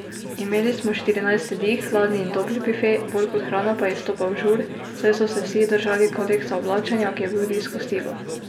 Imeli smo štirinajst jedi, hladni in topli bife, bolj kot hrana pa je izstopal žur, saj so se vsi držali kodeksa oblačenja, ki je bil v disko stilu.